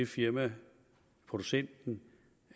firmaet producenten